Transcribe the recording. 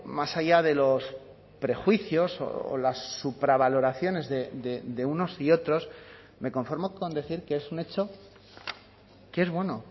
más allá de los prejuicios o las supravaloraciones de unos y otros me conformo con decir que es un hecho que es bueno